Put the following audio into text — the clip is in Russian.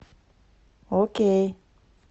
окей